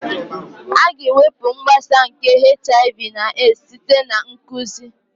A ga-ewepụ mgbasa nke HIV/AIDS site na nkụzi